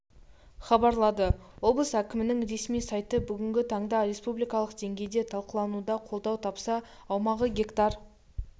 хабарлады облыс әкімінің ресми сайты бүгінгі таңда республикалық деңгейде талқылануда қолдау тапса аумағы гектар